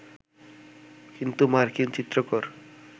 কিন্তু মার্কিন চিত্রকর